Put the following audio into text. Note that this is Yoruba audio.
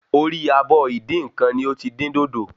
Orí abọ́ Ìdínkan ni o tí dín dòdò